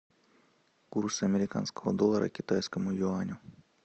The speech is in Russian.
курс американского доллара к китайскому юаню